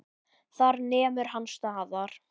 Þar nemur hann staðar.